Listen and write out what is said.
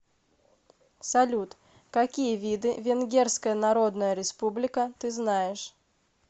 салют какие виды венгерская народная республика ты знаешь